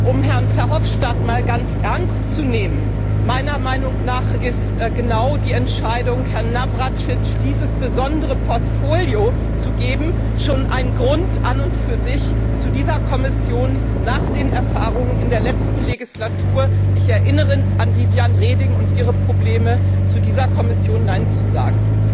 Um Herrn Verhofstadt einmal ganz ernst zu nehmen Meiner Meinung nach ist genau die Entscheidung, Herrn Navracsics dieses besondere Portfolio zu geben, schon ein Grund an und für sich, nach den Erfahrungen in der letzten Legislatur ich erinnere an Viviane Reding und ihre Probleme zu dieser Kommission Nein zu sagen.